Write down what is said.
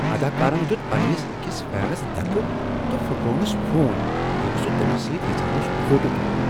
اداکارن دِیُت پننس أکس فینس دکہٕ تہٕ فٹروونس فون ییلِہ سُہ تٔمِس سۭتۍ یژھان اوس فوٹو تُلن۔